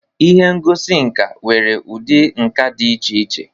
Ihe ngosi nka nwere ụdị nka dị iche iche.